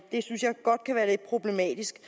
det synes jeg godt kan være lidt problematisk